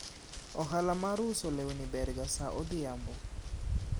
ohala mar uso lewni ber ga sa odhiambo